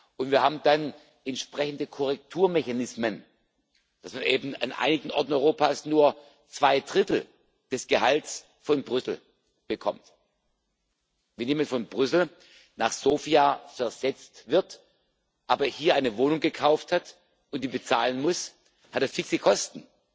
Und wir haben dann entsprechende Korrekturmechanismen, dass man eben an einigen Orten Europas nur zwei Drittel des Gehalts von Brüssel bekommt. Wenn jemand von Brüssel nach Sofia versetzt wird, aber hier eine Wohnung gekauft hat und die bezahlen muss, hat er fixe Kosten.